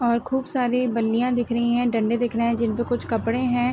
और खूब साररी बाल्लियाँ दिख रही हैंडंडे दिख रहे हैं जिनपे कुछ कपड़े हैं।